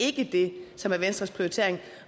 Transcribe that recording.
ikke det som er venstres prioritering